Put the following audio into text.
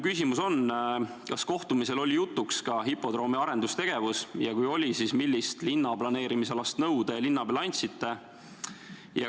Kas kohtumisel oli jutuks ka hipodroomi arendustegevus ja kui oli, siis millist linnaplaneerimisalast nõu te linnapeale andsite?